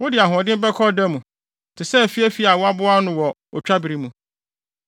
Wode ahoɔden bɛkɔ ɔda mu, te sɛ afiafi a wɔaboa ano wɔ otwabere mu.